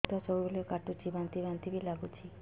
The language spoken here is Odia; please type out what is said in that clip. ପେଟ ସବୁବେଳେ କାଟୁଚି ବାନ୍ତି ବାନ୍ତି ବି ଲାଗୁଛି